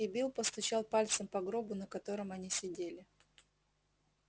и билл постучал пальцем по гробу на котором они сидели